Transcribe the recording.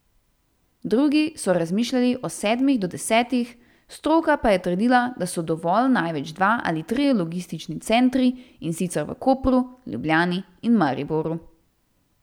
Drugi so razmišljali o sedmih do desetih, stroka pa je trdila, da so dovolj največ dva ali trije logistični centri, in sicer v Kopru, Ljubljani in Mariboru.